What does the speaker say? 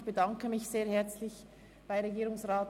Ich bedanke mich sehr herzlich bei Herrn Regierungsrat